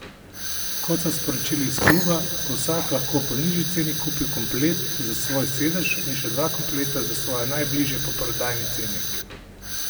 Kot so sporočili iz kluba, bo vsak lahko po nižji ceni kupil komplet za svoj sedež in še dva kompleta za svoje najbližje po prodajni ceni.